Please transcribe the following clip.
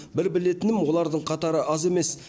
біл білетінім олардың қатары аз емес